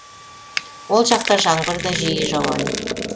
ол жақта жаңбыр да жиі жауады